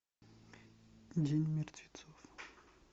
день мертвецов